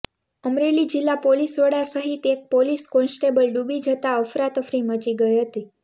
અમરેલી જિલ્લા પોલીસ વડા સહિત એક પોલીસ કોન્સ્ટેબલ ડૂબી જતાં અફરાતફરી મચી ગઈ હતી